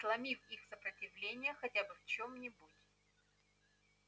сломив их сопротивление хотя бы в чём-нибудь